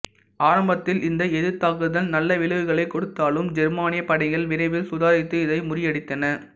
ஆரம்பத்தில் இந்த எதிர்தாக்குதல் நலல விளைவுகளைக் கொடுத்தாலும் ஜெர்மானியப் படைகள் விரைவில் சுதாரித்து இதை முறியடித்தன